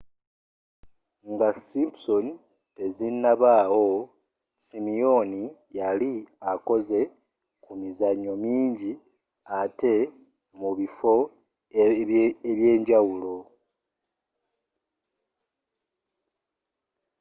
nga simpsons tezinnabaawo simyooni yali akoze ku mizanyo mingi atte mu bifo ebyenjawulo